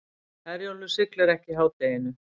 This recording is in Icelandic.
Herjólfur siglir ekki í hádeginu